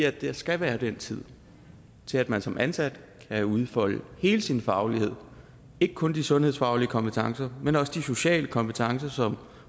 der skal være den tid til at man som ansat kan udfolde hele sin faglighed ikke kun de sundhedsfaglige kompetencer men også de sociale kompetencer som